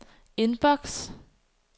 indboks